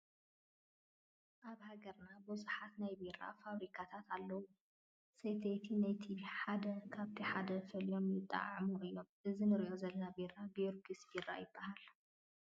ኣብ ሃገርና ብዙሓት ናይ ቢራ ፋብሪካታት ኣለዉ፡፡ ሰተይቲ ነቲ ሓደ ካብቲ ሓደ ፈልዮም የጠዓዕምዎ እዮም፡፡ እዚ ንሪኦ ዘለና ቢራ ጊዮርግስ ቢራ ይበሃል፡፡